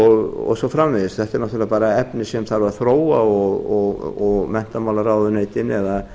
og svo framvegis þetta er náttúrlega bara efni sem þarf að þróa og menntamálaráðuneytin eða